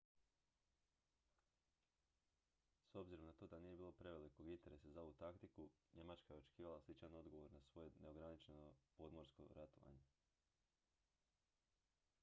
s obzirom na to da nije bilo prevelikog interesa za ovu taktiku njemačka je očekivala sličan odgovor na svoje neograničeno podmorsko ratovanje